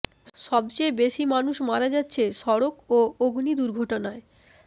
সবচেয়ে বেশি মানুষ মারা যাচ্ছে সড়ক ও অগ্নি দুর্ঘটনায়